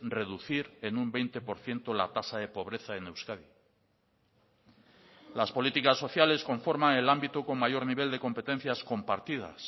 reducir en un veinte por ciento la tasa de pobreza en euskadi las políticas sociales conforman el ámbito con mayor nivel de competencias compartidas